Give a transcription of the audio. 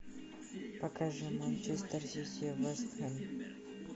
покажи манчестер сити вест хэм